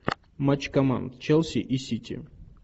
матч команд челси и сити